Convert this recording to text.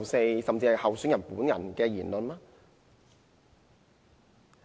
這甚至是候選人本人的言論！